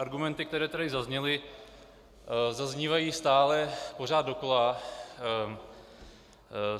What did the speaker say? Argumenty, které tady zazněly, zaznívají stále pořád dokola.